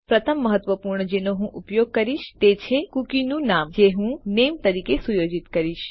પ્રથમ મહત્વપૂર્ણ જેનો હું ઉપયોગ કરીશ તે છે કૂકીનું નામ જે હું નામે તરીકે સુયોજિત કરીશ